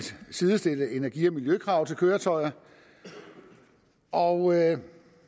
sidestille energi og miljøkrav til køretøjerne og